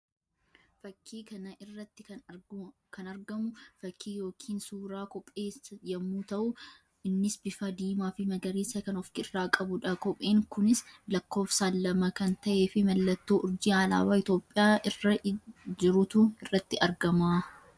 Fakkii kana irratti kan argamu fakkii yookiin suuraa kophee yammuu tahu; innis bifaa diimaa fi magariisa kan of irraa qabuu dha. Kopheen kunis lakkoofsaan lama kan tahee fi mallattoo urjii alaabaa Itoophiyaa irra jirutu irratti argama.